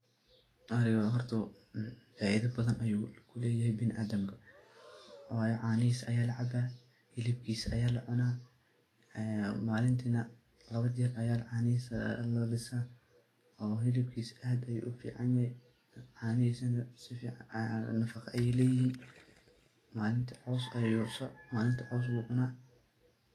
Arayga horta faidho badhan ayu kulehyay binaadamka wayo canihisa aya lacaba, hilibkisa ya lacuna, malintinah labo jer aya canihisa lalisa oo hilabkisa aad ayu ufican yahay canihisana nafaqa ay leyiin malinti cos bu cuna.